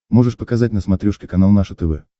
можешь показать на смотрешке канал наше тв